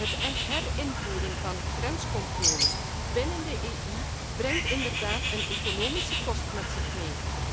Het herinvoeren van grenscontroles binnen de EU brengt inderdaad economische kosten met zich mee.